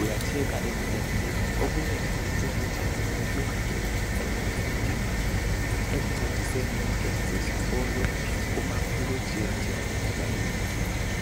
uyatshekha ebulenjini. Ebulembu lobu butshengisela yonke into ongayidinga ekuncediseni entweni zesikolo kumapholojethi layo yonkinto.